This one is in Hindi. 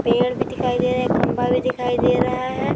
पेड़ भी दिखाई दे रहा है। खंभा भी दिखाई दे रहा है।